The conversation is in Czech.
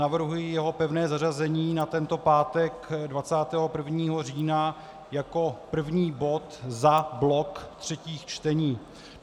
Navrhuji jeho pevné zařazení na tento pátek 21. října jako první bod za blok třetích čtení.